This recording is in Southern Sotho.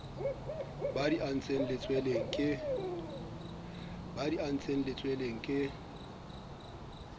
ba di antseng letsweleng ke